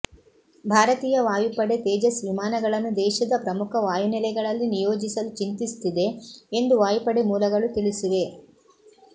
ಭಾರತೀಯ ವಾಯುಪಡೆ ತೇಜಸ್ ವಿಮಾನಗಳನ್ನು ದೇಶದ ಪ್ರಮುಖ ವಾಯುನೆಲೆಗಳಲ್ಲಿ ನಿಯೋಜಿಸಲು ಚಿಂತಿಸುತ್ತಿದೆ ಎಂದು ವಾಯುಪಡೆ ಮೂಲಗಳು ತಿಳಿಸಿವೆ